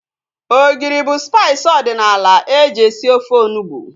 Ogiri bụ spaiis ọdịnala eji esi ofe onugbu